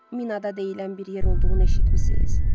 Minada deyilən bir yer olduğunu eşitmisiz?